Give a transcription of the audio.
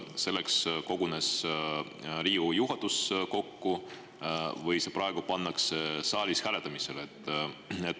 Kas selleks kogunes Riigikogu juhatus kokku või see praegu pannakse saalis hääletamisele?